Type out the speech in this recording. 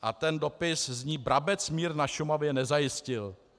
A ten dopis zní: "Brabec mír na Šumavě nezajistil."